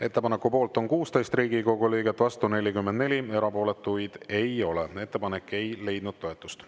Ettepaneku poolt on 16 Riigikogu liiget, vastu 44, erapooletuid ei ole, ettepanek ei leidnud toetust.